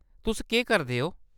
तुस केह्‌‌ करदे ओ ?